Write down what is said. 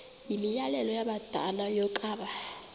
yimianelo yabadala yokaba